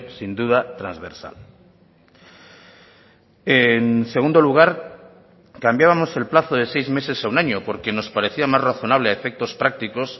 sin duda transversal en segundo lugar cambiábamos el plazo de seis meses a un año porque nos parecía más razonable a efectos prácticos